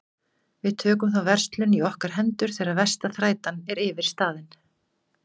Við tökum þá verslun í okkar hendur þegar versta þrætan er yfirstaðin.